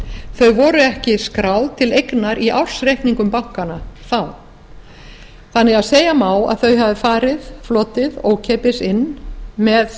þau voru ekki skráð til eignar í ársreikningum bankanna þá þannig að segja má að þau farið flotið ókeypis inn með